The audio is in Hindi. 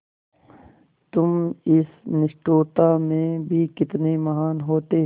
तुम इस निष्ठुरता में भी कितने महान् होते